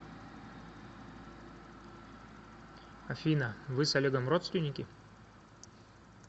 афина вы с олегом родственники